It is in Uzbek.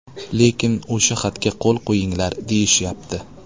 Lekin o‘sha xatga qo‘l qo‘yinglar deyishyapti.